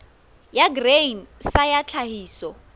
ya grain sa ya tlhahiso